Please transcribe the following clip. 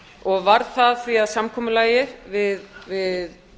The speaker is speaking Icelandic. og varð því að samkomulagi við